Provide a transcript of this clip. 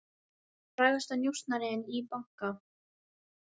Frægasti njósnarinn í banka